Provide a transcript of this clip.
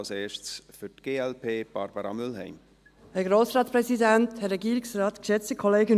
Als erste für die glp, Barbara Mühlheim.